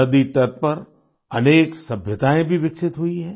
नदी तट पर अनेक सभ्यताएं भी विकसित हुई हैं